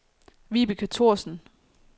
Vibeke Thorsen